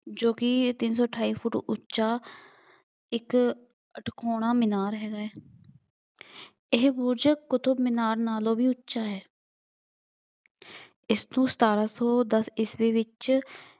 ਜੋ ਕਿ ਇਹ ਤਿੰਂਨ ਸੌ ਅਠਾਈ ਫੁੱਟ ਉੱਚਾ, ਇੱਕ ਤਿਕੋਣਾ ਮਿਨਾਰ ਹੈ। ਇਹ ਬੁਰਜ ਕੁਤਬ ਮੀਨਾਰ ਨਾਲੋਂ ਵੀ ਉੱਚਾ ਹੈ। ਇਸ ਤੋਂ ਸਤਾਰਾਂ ਸੌ ਦੱਸ ਈਸਵੀ ਵਿੱਚ